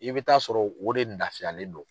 I bɛ taa sɔrɔ o de nafiyalen do.